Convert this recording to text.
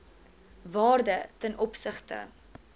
waarde ten opsigte